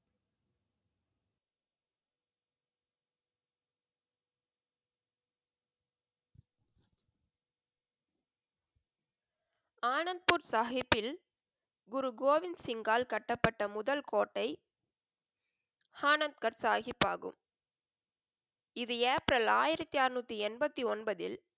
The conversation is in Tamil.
ஆனந்த்பூர் சாஹிப்பில் குரு கோவிந்த் சிங்கால் கட்டப்பட்ட முதல் கோட்டை ஆனந்த் கர் சாஹிப் ஆகும். இது ஏப்ரல் ஆயிரத்தி அறுநூத்தி எண்பத்தி ஒன்பதில்,